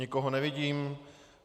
Nikoho nevidím.